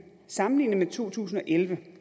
sammenlignet med to tusind og elleve